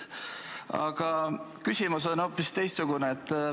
Aga küsimus on hoopis teine.